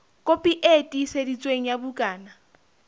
kopi e tiiseditsweng ya bukana